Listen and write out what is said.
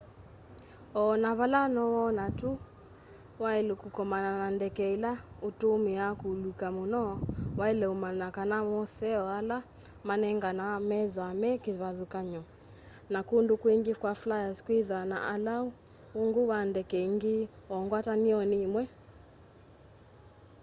o na vala nowone ta wailu kukomana na ndeke ila utumia kuuluka muno waile umanya kana moseo ala manenganawa methwaa me kivathukany'o na kundu kwingi kwa flyers kwithwaa na ulau ungu wa ndeke ingi o ngwatanioni imwe